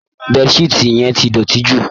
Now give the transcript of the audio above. Bed sheet yẹn ti dọ̀tí jù